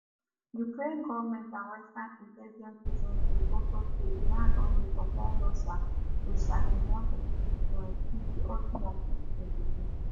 ukraine goment and western intelligence agencies also say iran don dey supply russia wit shahed136 drones since di autumn of 2022